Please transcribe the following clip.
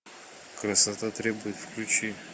красота требует включи